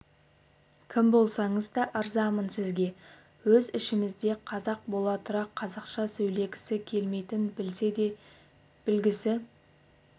кім болсаңыз да ырзамын сізге өз ішімізде қазақ бола тұра қазақша сөйлегісі келмейтін білсе де білгісі